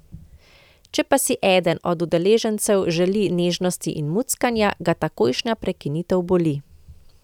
Če pa si eden od udeležencev želi nežnosti in muckanja, ga takojšnja prekinitev boli.